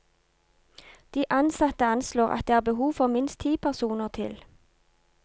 De ansatte anslår at det er behov for minst ti personer til.